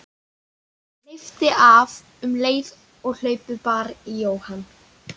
Hann hleypti af um leið og hlaupið bar í Jóhann.